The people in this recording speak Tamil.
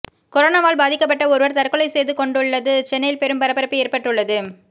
கொரோனாவால் பாதிக்கப்பட்ட ஒருவர் தற்கொலை செய்துகொண்டுள்ளது சென்னையில் பெரும் பரபரப்பு ஏற்பட்டுள்ளது